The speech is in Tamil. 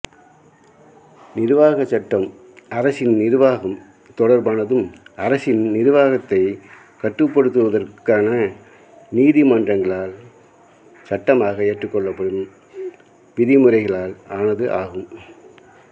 நிர்வாகச் சட்டம் அரசின் நிர்வாகம் தொடர்பானதும் அரசின் நிர்வாகத்தை கட்டுப்படுத்துவதற்கான நீதிமன்றங்களால் சட்டமாக ஏற்றுக்கொள்ளப்படும் விதிமுறைளால் ஆனது ஆகும்